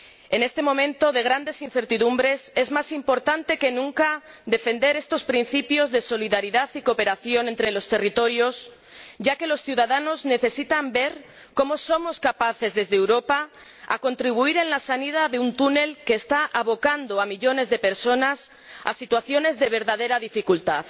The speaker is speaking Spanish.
En este momento de grandes incertidumbres es más importante que nunca defender estos principios de solidaridad y cooperación entre los territorios, ya que los ciudadanos necesitan ver cómo somos capaces, desde Europa, de contribuir a que se salga de un túnel que está abocando a millones de personas a situaciones de verdadera dificultad.